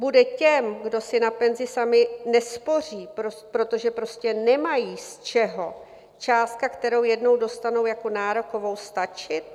Bude těm, kdo si na penzi sami nespoří, protože prostě nemají z čeho, částka, kterou jednou dostanou jako nárokovou, stačit?